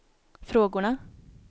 frågorna